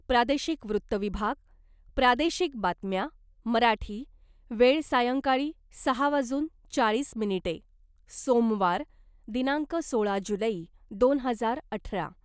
प्रादेशिक वृत्त विभाग प्रादेशिक बातम्या मराठी वेळ सायंकाळी सहा वाजून चाळीस मिनिटे सोमवार , दिनांक सोळा जुलै , दोन हजार अठरा .